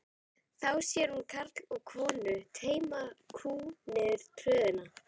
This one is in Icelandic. Þá sér hún karl og konu teyma kú niður tröðina.